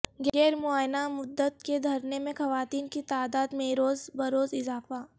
غیر معینہ مدت کے دھرنے میں خواتین کی تعداد میںروز بروز اضافہ